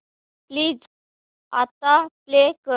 please आता play कर